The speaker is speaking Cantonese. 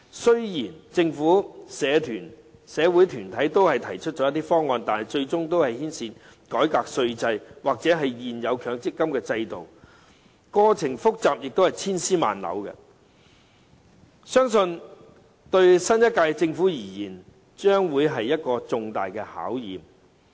雖然政府和社會團體都提出了一些方案，但最終均會牽涉改革稅制或現有強積金制度，過程複雜而且千絲萬縷，相信對新一屆政府而言，將會是一個重大的考驗。